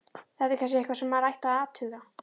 Þetta er kannski eitthvað sem maður ætti að athuga.